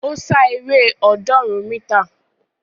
Ó sá eré ọ̀ọ́dúnrún mítà